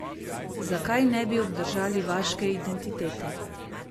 Zakaj ne bi obdržali vaške identitete?